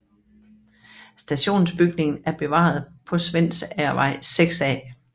Stationsbygningen er bevaret på Svendsagervej 6A